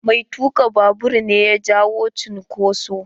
Mai tuka babur ne ya jawo cunkoso.